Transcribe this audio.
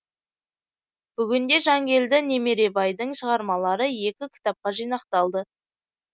бүгінде жангелді немеребайдың шығармалары екі кітапқа жинақталды